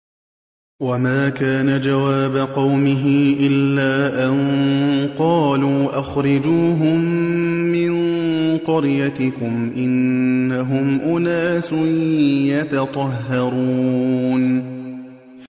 وَمَا كَانَ جَوَابَ قَوْمِهِ إِلَّا أَن قَالُوا أَخْرِجُوهُم مِّن قَرْيَتِكُمْ ۖ إِنَّهُمْ أُنَاسٌ يَتَطَهَّرُونَ